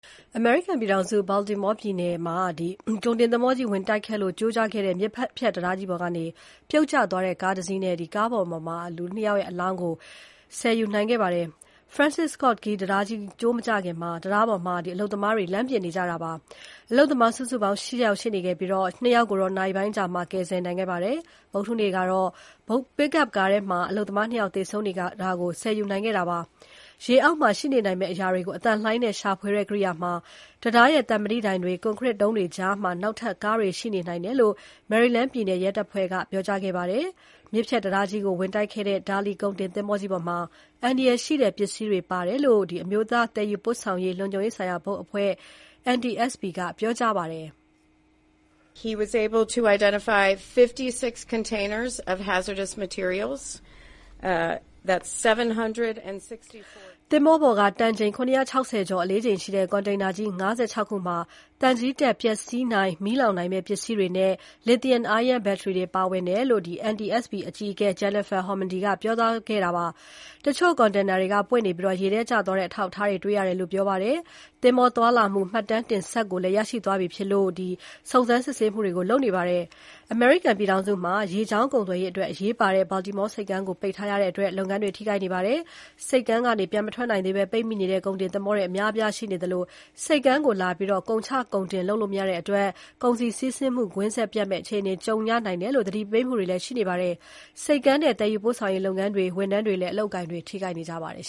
အမေရိကန်ပြည်ထောင်စု Baltimore ပြည်နယ်မှာ ကုန်တင်သင်္ဘောကြီး ဝင်တိုက်ခိုက်လို့ ကျိုးကျခဲ့တဲ့ မြစ်ဖြတ်တံတားကြီးပေါ်က ပြုတ်ကျသွားတဲ့ ကားတစီးနဲ့ အထဲက အလောင်း ၂ လောင်းကို ဆယ်ယူနိုင်ခဲ့ပါတယ်။ Francis Scott Key တံတားကြီး ကျိုးမကျခင် တံတားပေါ်မှာ အလုပ်သမားတွေ လမ်းပြင်နေကြတာဖြစ်ပါတယ်။ အလုပ်သမားစုစုပေါင်း ၈ ယောက်ရှိနေခဲ့ပြီး ၂ ယောက်ကို နာရီပိုင်းအကြာမှာ ကယ်ဆယ်နိုင်ခဲ့ပါတယ်။ ဗုဒ္ဓဟူးနေ့ကတော့ Pick-up ကားထဲမှာ အလုပ်သမား ၂ ယောက်သေဆုံးနေတာကို ဆယ်ယူနိုင်ခဲ့တာပါ။ ရေအောက်မှာ ရှိနေနိုင်မယ့်အရာတွေကို အသံလှိုင်းနဲ့ ရှာဖွေတဲ့ကိရိယာမှာ တံတားရဲ့သံမဏိတိုင်တွေ၊ ကွန်ခရစ်တုံးတွေကြားမှာ နောက်ထပ် ကားတွေရှိနေနိုင်တယ်လို့ Maryland ပြည်နယ်ရဲတပ်ဖွဲ့က ပြောကြားခဲ့ပါတယ်၊ ရေငုပ်ရှာဖွေနေသူတွေအနေနဲ့ အပျက်အစီးတွေကြားထဲ သွားရောက်ရှာဖွေဖို့ အန္တရာယ်ရှိတယ်လို့လည်း သတင်းစာရှင်းပွဲမှာ ပြည်နယ်ရဲတပ်ဖွဲ့တာဝန်ရှိသူက ပြောကြားခဲ့ပါတယ်။ မြစ်ဖြတ်တံတားကြီးကို ဝင်တိုက်ခဲ့တဲ့ Dali ကုန်တင်သင်္ဘောကြီးပေါ်မှာ အန္တရာယ်ရှိတဲ့ ပစ္စည်းတွေပါတယ်လို့ အမျိုးသားသယ်ယူပို့ဆောင်ရေး လုံခြုံရေးဆိုင်ရာဘုတ်အဖွဲ့ (NTSB) ကပြောပါတယ်။ သင်္ဘောပေါ်က တန်ချိန် ၇၆၀ ကျော် အလေးချိန်ရှိတဲ့ ကွန်တိန်နာကြီး ၅၆ ခုမှာ သံချေးတက် ပျက်စီးနိုင်၊ မီးလောင်နိုင်တဲ့ ပစ္စည်းတွေနဲ့ lithium-ion ဘက်ထရီတွေပါဝင်တယ်လို့ NTSB အကြီးအကဲ Jennifer Homendy က ပြောကြားခဲ့ပါတယ်၊ တချို့ကွန်တိန်နာတွေက ပွင့်နေပြီး ရေထဲကျသွားတဲ့ အထောက်အထားတွေ တွေ့ရတယ်လို့ ပြောပါတယ်။ သင်္ဘောသွားလာမှု မှတ်တမ်းတင်စက် ကိုလည်း ရရှိထားပြီဖြစ်လို့ စုံစမ်းစစ်ဆေးမှုတွေကို လုပ်နေပါတယ်။ အမေရိကန်ပြည်ထောင်စုမှာ ရေကြောင်းကုန်သွယ်ရေးအတွက် အရေးပါတဲ့ Baltimore ဆိပ်ကမ်းကို ပိတ်ထားရတဲ့အတွက် လုပ်ငန်းတွေ ထိခိုက်နေပါတယ်။ ဆိပ်ကမ်းကနေ ပြန်မထွက်နိုင်သေးဘဲ ပိတ်မိနေတဲ့ ကုန်တင်သင်္ဘောတွေ အများအပြားရှိနေသလို ဆိပ်ကမ်းကို လာပြီး ကုန်တင်ကုန်ချ လုပ်လို့မရတဲ့အတွက် ကုန်စည်စီးဆင်းမှု ကွင်းဆက်ပြတ်မယ့် အခြေအနေကြုံရနိုင်တယ်လို့ သတိပေးမှုတွေ ရှိနေပါတယ်။ ဆိပ်ကမ်းနဲ့ သယ်ယူပို့ဆောင်ရေးလုပ်ငန်းတွေ၊ ဝန်ထမ်းတွေလည်း အလုပ်အကိုင် ထိခိုက်နေကြပါတယ်